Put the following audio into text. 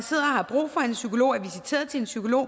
har brug for en psykolog og er visiteret til en psykolog